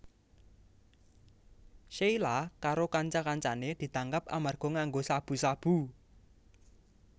Sheila karo kanca kancané ditangkap amarga nganggo sabu sabu